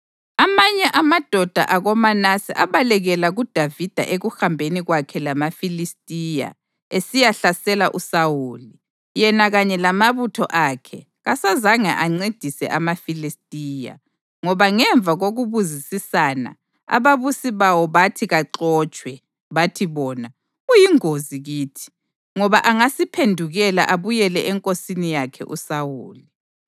Amanye amadoda akoManase abalekela kuDavida ekuhambeni kwakhe lamaFilistiya esiyahlasela uSawuli. (Yena kanye lamabutho akhe kasazange ancedise amaFilistiya, ngoba ngemva kokubuzisisana, ababusi bawo bathi kaxotshwe. Bathi bona: “Uyingozi kithi, ngoba angasiphendukela abuyele enkosini yakhe uSawuli.”)